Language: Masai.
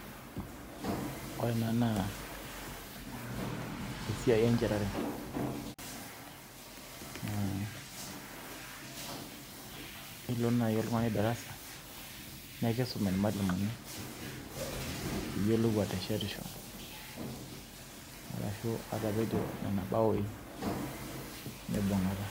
ore ena naa esiai enchatare, naa ilo naaji oltung'ani darasa, nikisum irmalimuni, pee iyiolou ateshetisho. arshu atapejo nena baoi mibung'ata.